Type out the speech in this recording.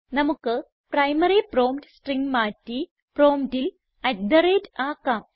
നമുക്ക് primary prompt string മാറ്റി പ്രോംപ്റ്റിൽ അട്ട് തെ റേറ്റ് ltgt ആക്കാം